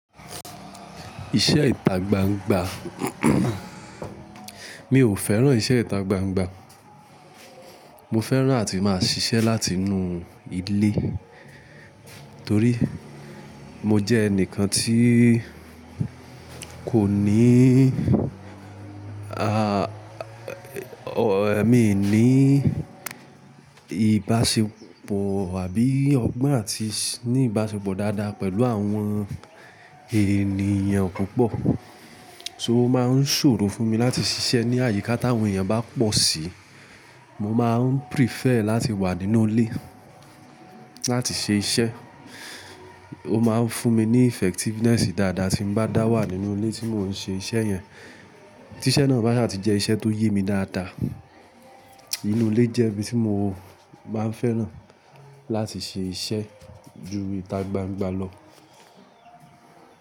Iṣẹ́ ìtagbangba mi ò fẹ́ràn iṣẹ́ ìtagbangba. Mo fẹ́ràn ati máa ṣiṣẹ́ láti inú ilé torí mo jẹ́ ẹnìkan tí kò níí a-ẹ-mi ní ìbáṣepọ̀ àbí ọgbọ́n àti ní ìbáṣepọ̀ dáadáa pẹ̀lú àwọn ènìyàn púpọ̀. So máa ń ṣòro fún mi láti ṣiṣẹ́ ní àyíká táwọn èèyàn bá pọ̀ síi. Mo máa ń prefer láti wà nínú ilé láti ṣe iṣẹ́. Ó máa ń fún mi ní effectiveness dáadáa tí n bá dá wà nínú ilé tí mò ń ṣe iṣẹ́ yẹn. Tí iṣẹ́ náà bá saa tí jẹ́ iṣẹ́ tó yẹ mi dáadáa. Inú ilé jẹ́ ibi tí mo máa ń fẹ́ràn láti ṣe iṣẹ́ ju ìtagbangba lọ.